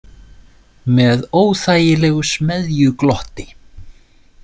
Með óþægilegu smeðjuglotti.